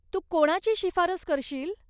तू कोणाची शिफारस करशील?